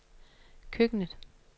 køkkenet